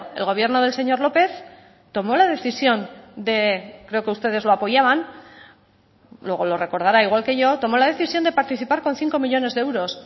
el gobierno del señor lópez tomó la decisión de creo que ustedes lo apoyaban luego lo recordará igual que yo tomó la decisión de participar con cinco millónes de euros